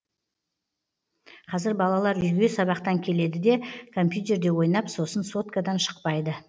қазір балалар үйге сабақтан келеді де компьютерде ойнап сосын соткадан шықпайды